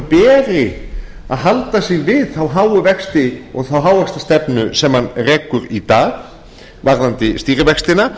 beri að halda sig við þá háu vexti og þá hávaxtastefnu sem hann rekur í dag varðandi stýrivextina